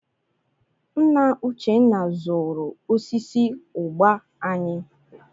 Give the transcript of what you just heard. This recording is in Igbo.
Nna Uchenna zụrụ osisi ụgba anyị.